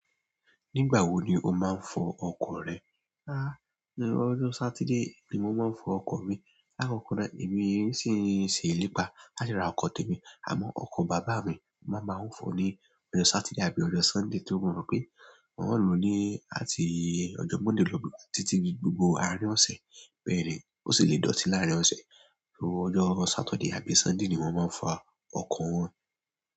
Nígbà wo ni o máa ń fọ ọkọ̀ rẹ? Háà, ọjọ Saturday ni mo máa ń fọ ọkọ̀ mi. Lakọkọ náà, èmi sì ń ṣe ìlépa láti ra ọkọ̀ tèmi àmọ́ ọkọ̀ bàbá mi máa máa ń fọ ní ọjọ́ Saturday àbí ọjọ́ Sunday tí ó mọ pé wọn ó lò ó ní àti ọjọ́ Monday lọ títí gbogbo àárín ọ̀sẹ̀. Bẹ́ẹ̀ni, ó sì lè dọ̀tí láàrin ọ̀sẹ̀. Ọjọ Saturday àbí sunday ni mo maa n fọ ọkọ wọn.